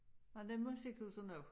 Nåh det musikhuset nu